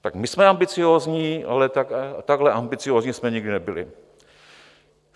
Tak my jsme ambiciózní, ale takhle ambiciózní jsme nikdy nebyli.